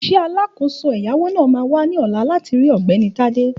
Òṣìṣẹ́ alákòóso ẹ̀yáwó náà máa wá ní ọ̀la láti rí Ọ̀gbẹ́ni Tádé